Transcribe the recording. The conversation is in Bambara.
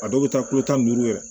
A dɔw bɛ taa kulo tan ni duuru yɛrɛ